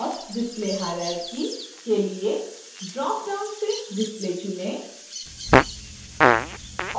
authdisplayhierarchy के लिए dropdown से display चुनें